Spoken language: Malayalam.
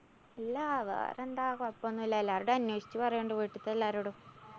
ഇല്ല വേറെന്താ? കൊഴപ്പോന്നില്ലാ. എല്ലാരോടും അന്വേഷിച്ചു പറയോണ്ട്. വീട്ടില്‍ത്തെ എല്ലാരോടും.